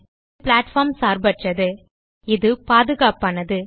இது பிளாட்ஃபார்ம் சார்பற்றது இது பாதுகாப்பானது